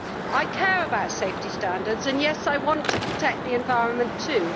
I care about safety standards, and yes, I want to protect the environment too.